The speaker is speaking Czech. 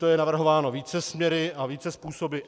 To je navrhováno více směry a více způsoby.